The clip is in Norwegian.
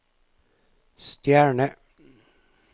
stjerne